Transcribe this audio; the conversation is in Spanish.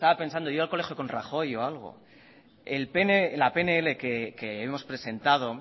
pensando iba al colegio con rajoy o algo en la pnl que hemos presentado